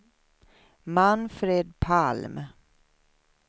Manfred Palm